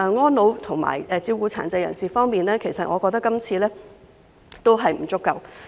安老和照顧殘疾人士方面，我認為這份預算案的措施仍然不足。